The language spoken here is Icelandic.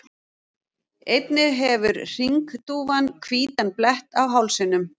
einnig hefur hringdúfan hvítan blett á hálsinum